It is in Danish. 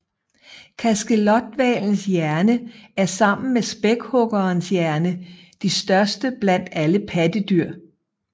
Kaskelothvalens hjerne er sammen med spækhuggerens hjerne de største blandt alle pattedyr